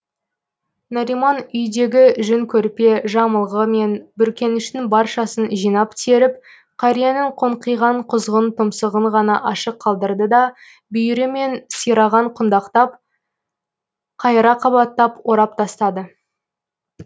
нариман үйдегі жүн көрпе жамылғы мен бүркеніштің баршасын жинап теріп қарияның қоңқиған құзғын тұмсығын ғана ашық қалдырды да бүйірі мен сирағын құндақтап қайыра қабаттап орап тастады